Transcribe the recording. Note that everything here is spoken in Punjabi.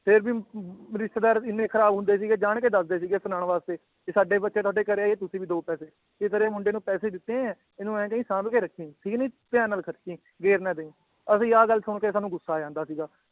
ਫੇਰ ਵੀ ਰਿਸ਼ਤੇਦਾਰ ਇੰਨੇ ਖਰਾਬ ਹੁੰਦੇ ਸੀਗੇ ਜਾਣ ਲੱਗੇ ਦੱਸਦੇ ਸੀਗੇ ਸੁਨਾਣ ਵਾਸਤੇ ਵੀ ਸਾਡੇ ਬੱਚੇ ਤੁਹਾਡੇ ਘਰੇ ਆਏ ਤੁਸੀਂ ਵੀ ਦੋ ਪੈਸੇ ਅਸੀ ਤੇਰੇ ਮੁੰਡੇ ਨੂੰ ਪੈਸੇ ਦਿੱਤੇ ਏਂ ਇਹਨੂੰ ਇਹ ਕਹੀਂ ਸਾਂਭ ਕੇ ਰੱਖੀਂ ਠੀਕ ਨੀ ਧਯਾਨ ਨਾਲ ਖ਼ਰਚੀ ਗੈਰ ਨਾ ਦਈ ਅਸੀ ਆਹ ਗੱਲ ਸੁਨ ਕੇ ਸਾਨੂੰ ਗੁੱਸਾ ਆ ਜਾਂਦਾ ਸੀਗਾ